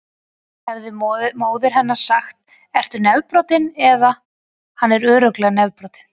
Hefði móðir hennar sagt: Ertu nefbrotinn? eða: Hann er örugglega nefbrotinn.